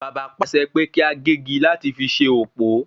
Bàbá pàṣẹ pé kí a gégi láti fi ṣe òpó